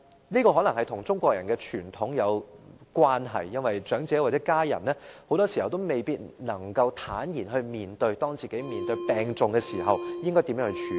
這可能與中國人的傳統有關，因為長者或家人很多時候也未必能夠坦然面對自己病重時應如何作出處理。